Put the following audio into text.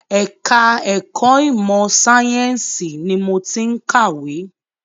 Ẹ̀ka ẹ̀kọ́ ìmọ sàyẹ̀nsì ni mo ti ń kàwé.